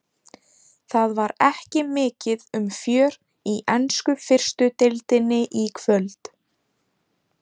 Það var ekki mikið um fjör í ensku fyrstu deildinni í kvöld.